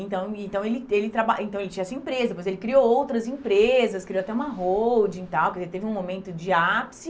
Então e então ele ele traba ele também tinha essa empresa, depois ele criou outras empresas, criou até uma holding e tal, ele teve um momento de ápice,